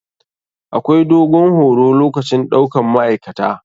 Akwai dogon horo lokacin ɗaukan ma'aikata.